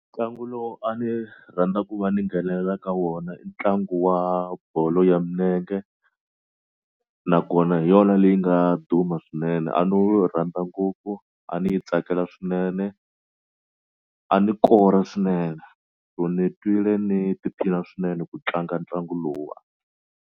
Ntlangu lowu a ni rhandza ku va ni nghenelela ka wona i ntlangu wa bolo ya milenge nakona hi yona leyi nga duma swinene a no rhandza ngopfu a ni yi tsakela swinene a ni kora swinene so ni twile ni tiphina swinene ku tlanga ntlangu lowuwa.